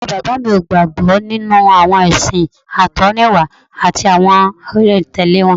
Bàbá bàbá mi ò gbàgbọ́ nínú àwọn ẹ̀sìn àtọ̀húnrìnwá àti àwọn olùtẹ̀lé wọn